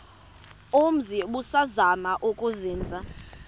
umzi ubusazema ukuzinza